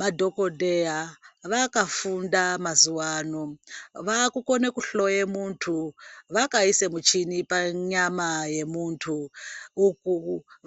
Madhokodheya vakafunda mazuvano, vaakukone kuhloye muntu vakaise muchini panyama yemuntu, uku